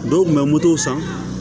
Dɔw kun bɛ moto san